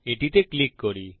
এটিতে ক্লিক করি